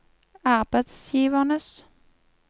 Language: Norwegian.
arbeidsgivernes